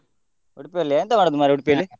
Udupi ಅಲ್ಲಿಯಾ, ಎಂತ ಮಾಡುದ್ ಮಾರ್ರೆ Udupi ಅಲ್ಲಿ.